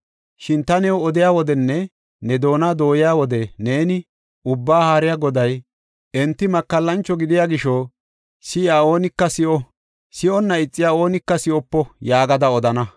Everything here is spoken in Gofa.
Shin ta new odiya wodenne ne doona dooyiya wode neeni, ‘Ubbaa Haariya Goday, enti makallancho gidiya gisho, si7iya oonika si7o; si7onna ixiya oonika si7opo’ yaagada” odana.